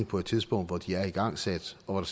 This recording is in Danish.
på et tidspunkt hvor de er igangsat og